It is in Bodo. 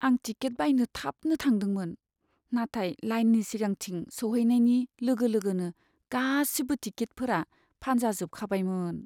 आं टिकेट बायनो थाबनो थांदोंमोन, नाथाय लाइननि सिगांथिं सौहैनायनि लोगो लोगोनो गासिबो टिकेटफोरा फानजाजोबखाबायमोन।